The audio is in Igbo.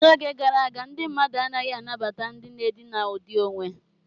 N'oge gara aga, ndị mmadụ anaghị anabata ndị na-edina ụdị onwe.